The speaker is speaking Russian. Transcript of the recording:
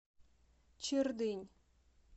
чердынь